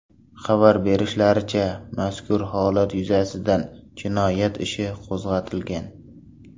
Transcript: Xabar berishlaricha, mazkur holat yuzasidan jinoyat ishi qo‘zg‘atilgan.